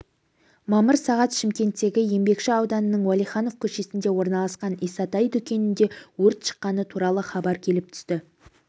мамыр сағат шымкенттегі еңбекші ауданының уәлиханов көшесінде орналасқан исатай дүкенінде өрт шыққаны туралы хабар келіп түсті